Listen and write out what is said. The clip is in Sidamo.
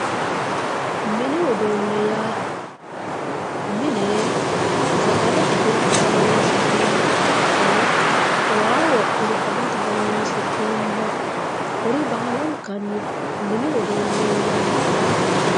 mini uduune yaa mine sagale qishirate horonsi'neemoha ikko waa woxxine agate horonsi'neemoha kuri baalankanni mini uduune yinanni.